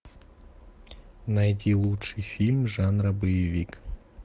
найти лучший фильм жанра боевик